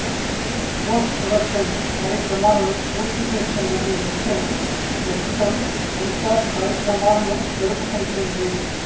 post production కార్యక్రమాలను పూర్తి చేసుకున్న ఈ చిత్రం ప్రస్తుతం సెన్సార్ కార్యక్రమాలను జరుపుకుంటోంది